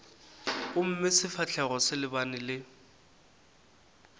gomme sefahlogo se lebane le